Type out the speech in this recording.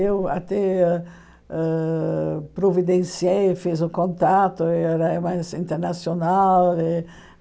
Eu até ãh providenciei, fiz o contato, era mais assim internacional.